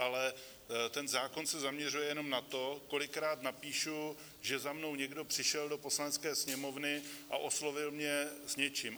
Ale ten zákon se zaměřuje jenom na to, kolikrát napíšu, že za mnou někdo přišel do Poslanecké sněmovny a oslovil mě s něčím.